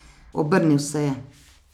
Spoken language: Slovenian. Obrnil se je.